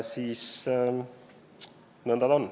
Nõnda ta on.